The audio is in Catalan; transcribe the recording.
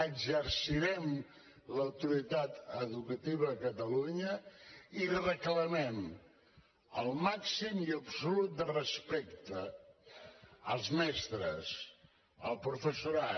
exercirem l’autoritat educativa a catalunya i reclamem el màxim i absolut respecte als mestres al professorat